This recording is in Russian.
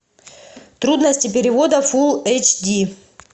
трудности перевода фулл эйч ди